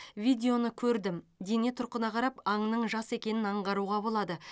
видеоны көрдім дене тұрқына қарап аңның жас екенін аңғаруға болады